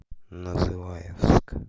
называевск